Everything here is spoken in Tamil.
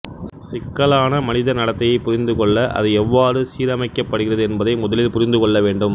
சிக்கலான மனித நடத்தையை புாிந்துகொள்ள அது எவ்வாறு சீரமைக்கப்படுகிறது என்பதை முதலில் புாிந்து கொள்ள வேண்டும்